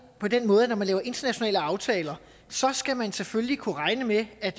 på den måde at når man laver internationale aftaler skal man selvfølgelig kunne regne med at